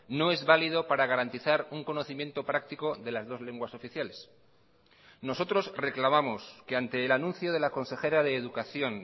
no es válido para garantizar un conocimiento práctico de las dos lenguas oficiales nosotros reclamamos que ante el anuncio de la consejera de educación